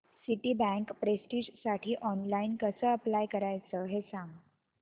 Citibank प्रेस्टिजसाठी online कसं apply करायचं ते सांग